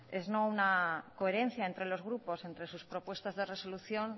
es no una coherencia entre los grupos entre sus propuestas de resolución